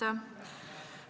Aitäh!